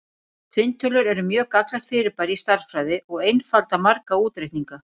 Tvinntölur eru mjög gagnlegt fyrirbæri í stærðfræði og einfalda marga útreikninga.